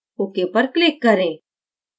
ok पर click करें